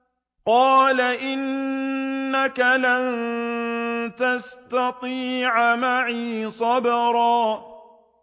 قَالَ إِنَّكَ لَن تَسْتَطِيعَ مَعِيَ صَبْرًا